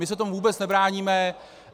My se tomu vůbec nebráníme.